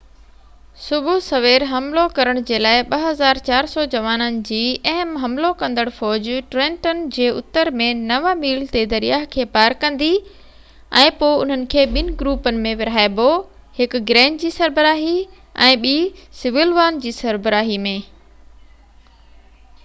صبح سوير حملو ڪرڻ جي لاءِ 2،400 جوانن جي اهم حملو ڪندڙ فوج ٽرينٽن جي اتر ۾ نو ميل تي دريا کي پار ڪندي، ۽ پوءِ انهن کي ٻن گروپن ۾ ورهائبو، هڪ گرين جي سربراهي ۾۽ ٻي سوليوان جي سربراهي ۾